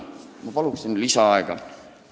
Ma palun lisaaega!